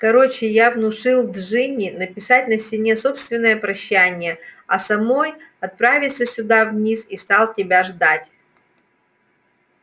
короче я внушил джинни написать на стене собственное прощание а самой отправиться сюда вниз и стал тебя ждать